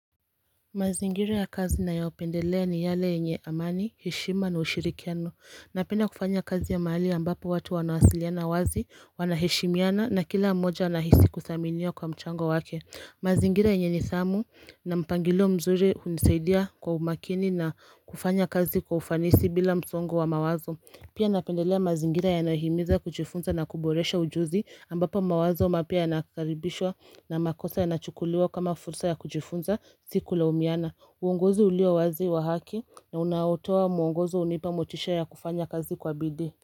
Mazingira ya kazi ninayaopendelea ni yale yenye amani, heshima na ushirikiano. Napenda kufanya kazi ya mahali ambapo watu wanawasiliana wazi, wanaheshimiana na kila mmoja anahisi kudhaminiwa kwa mchango wake. Mazingira yenye nidhamu na mpangilio mzuri huisaidia kwa umakini na kufanya kazi kwa ufanisi bila msongo wa mawazo. Pia napendelea mazingira yanayohimiza kujifunza na kuboresha ujuzi ambapo mawazo mapya yanakaribishwa na makosa yanachukuliwa kama fursa ya kujifunza si kulaumiana. Uongozi ulio wazi wa haki na unaotoa muongozi hunipa motisha ya kufanya kazi kwa bidii.